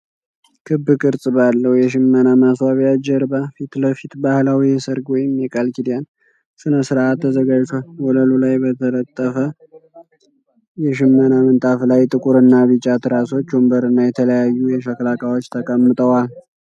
ክብ ቅርጽ ባለው የሽመና ማስዋቢያ ጀርባ ፊት ለፊት ባህላዊ የሰርግ ወይም የቃል ኪዳን ሥነ ሥርዓት ተዘጋጅቷል። ወለሉ ላይ በተነጠፈ የሽመና ምንጣፍ ላይ፣ ጥቁርና ቢጫ ትራሶች፣ ወንበርና የተለያዩ የሸክላ ዕቃዎች ተቀምጠዋል።